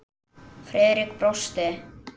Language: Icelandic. Friðrik brosti.